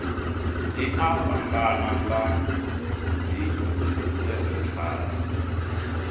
dzi a fhambana nga dzisenthara